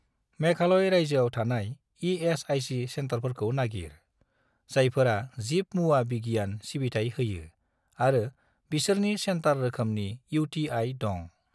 मेघालय रायजोआव थानाय इ.एस.आइ.सि. सेन्टारफोरखौ नागिर, जायफोरा जिब मुवा बिगियान सिबिथाय होयो आरो बिसोरनि सेन्टार रोखोमनि इउ.टि.आइ. दं।